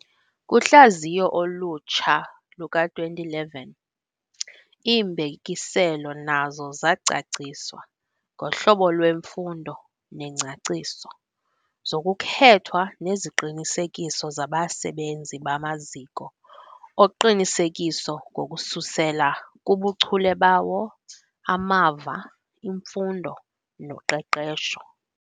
Kuhlaziyo olutsha luka-2011, iimbekiselo nazo zacaciswa ngohlobo lweemfuno nengcaciso zokukhethwa neziqinisekiso zabasebenzi bamaziko oqinisekiso ngokususela kubuchule bawo, amava, imfundo noqeqesho.